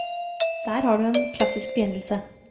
Der har du en klassisk begynnelse.